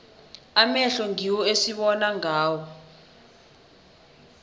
amehlo ngiwo esibona ngawo